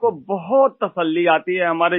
ہم کو بہت سکون ملتا ہے